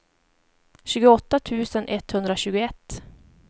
tjugoåtta tusen etthundratjugoett